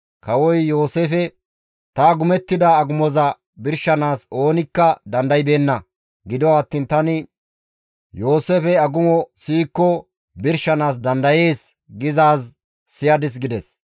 Kawoy Yooseefe, «Ta agumettida agumoza birshanaas oonikka dandaybeenna. Gido attiin tani, ‹Yooseefey agumo siyikko birshanaas dandayees› gizaaz siyadis» gides.